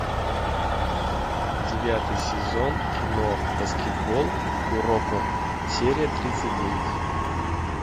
девятый сезон кино баскетбол куроко серия тридцать девять